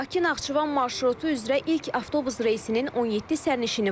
Bakı-Naxçıvan marşrutu üzrə ilk avtobus reysinin 17 sərnişini var.